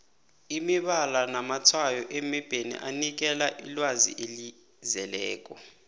imibala namatshwayo emebheni anikela ilwazi elizeleko